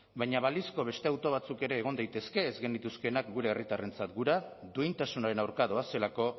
baina balizko beste hautu batzuk ere egon daitezke ez genituzkeenak gure herritarrentzat duintasunaren aurka doazelako